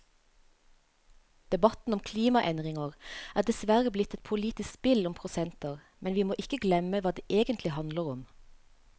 Debatten om klimaendringer er dessverre blitt et politisk spill om prosenter, men vi må ikke glemme hva det egentlig handler om.